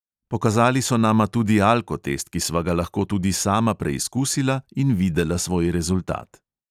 Pokazali so nama tudi alkotest, ki sva ga lahko tudi sama preizkusila in videla svoj rezultat.